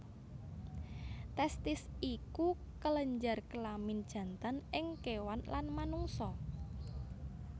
Testis iku kelenjar kelamin jantan ing kéwan lan manungsa